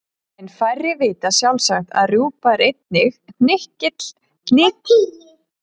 En færri vita sjálfsagt að rjúpa er einnig hnykill undinn á sérstakan hátt.